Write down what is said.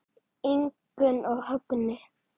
Ingunn og Högni.